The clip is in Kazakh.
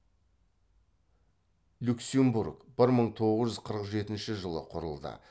люксембург бір мың тоғыз жүз қырық жетінші жылы құрылды